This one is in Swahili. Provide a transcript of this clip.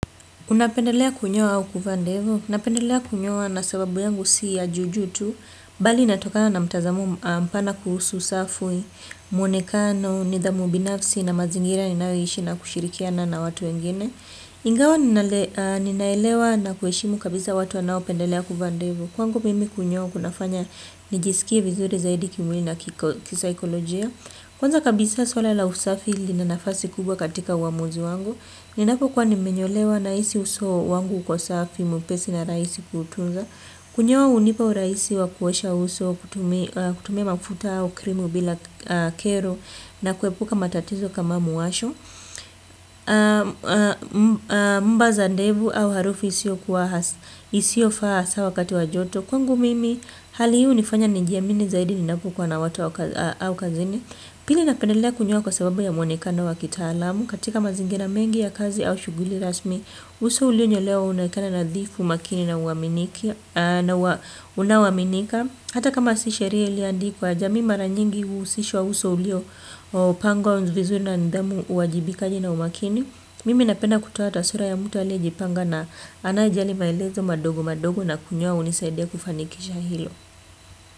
Unapendelea kunyoa au kuvaa ndevu? Napendelea kunyoa na sababu yangu si ya juu juu tu, bali inatokana na mtazamo mpana kuhusu safui, mwonekano, nidhamu binafsi, na mazingira ninayoishi na kushirikiana na watu wengine. Ingawa ninaelewa na kuheshimu kabisa watu wanaopendelea kuvaa ndevu. Kwangu mimi kunyoa kunafanya nijisikie vizuri zaidi kimwili na kisaikolojia. Kwanza kabisa suala la usafi lina nafasi kubwa katika uamuzi wangu. Ninapokuwa nimenyolewa nahisi uso wangu uko safi, mwepesi na rahisi kutunza. Kunyoa hunipa urahisi wa kuosha uso, kutumia mafuta au krimu bila kero na kuepuka matatizo kama mwasho, mba za ndevu au harufu isiyofaa hasa wakati wa joto. Kwangu mimi hali hii hunifanya nijiamini zaidi ninapokuwa na watu au kazini. Pili napendelea kunyoa kwa sababu ya mwonekano wa kitaalamu, katika mazingira mengi ya kazi au shughuli rasmi. Uso ulionyolewa unaonekana nadhifu, makini na unaoaminika. Hata kama si sheria iliyoandikwa, jamii mara nyingi huhusishwa uso uliopangwa vizuri na nidhamu, uwajibikaji na umakini. Mimi napenda kutoa taswira ya mtu aliyejipanga na anayejali maelezo madogo madogo na kunyoa hunisaidia kufanikisha hilo.